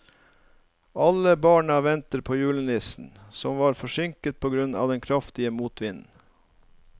Alle barna ventet på julenissen, som var forsinket på grunn av den kraftige motvinden.